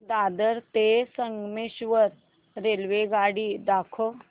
दादर ते संगमेश्वर रेल्वेगाडी दाखव